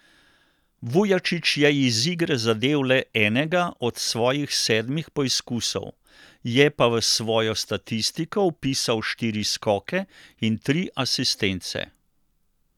Vujačić je iz igre zadel le enega od svojih sedmih poizkusov, je pa v svojo statistiko vpisal štiri skoke in tri asistence.